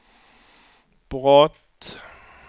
brott